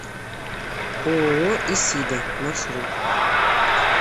ооо исида маршрут